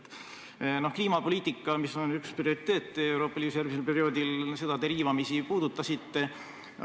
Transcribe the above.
Te riivamisi puudutasite kliimapoliitikat, mis on Euroopa Liidus järgmisel perioodil üks prioriteete.